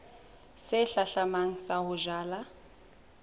se hlahlamang sa ho jala